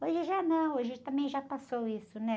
Hoje já não, hoje também já passou isso, né?